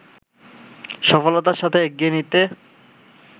সফলতার সাথে এগিয়ে নিতে